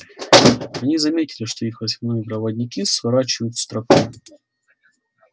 они заметили что их восьминогие проводники сворачивают с тропы